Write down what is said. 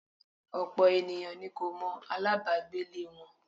Ọ̀pọ̀ ènìyàn ni kò mọ alabagbe lè wọn.